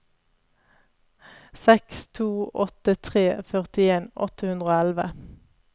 seks to åtte tre førtien åtte hundre og elleve